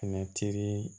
Tɛmɛtiri